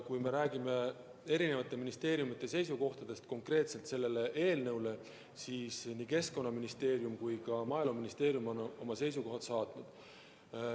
Kui me räägime eri ministeeriumide seisukohtadest selle eelnõu puhul, siis nii Keskkonnaministeerium kui ka Maaeluministeerium on oma seisukohad saatnud.